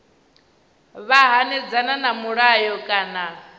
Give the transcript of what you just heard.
vha hanedzana na mulayo kana